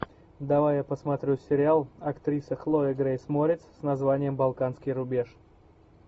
давай я посмотрю сериал актриса хлоя грейс морец с названием балканский рубеж